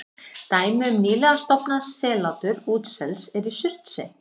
Dæmi um nýlega stofnað sellátur útsels er í Surtsey.